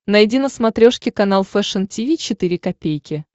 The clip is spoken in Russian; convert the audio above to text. найди на смотрешке канал фэшн ти ви четыре ка